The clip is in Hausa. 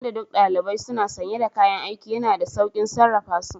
Tun da duk ɗalibai suna sanye da kayan aiki, yana da sauƙin sarrafa su